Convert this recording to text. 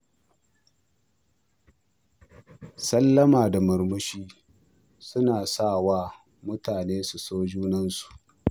Sallama da murmushi suna sa wa mutane su so junansu.